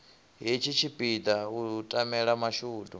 hetshi tshipiḓa u tamela mashudu